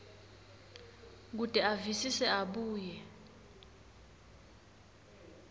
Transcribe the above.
kute avisise abuye